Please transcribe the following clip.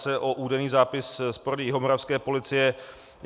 Jde o údajný zápis z porady jihomoravské policie.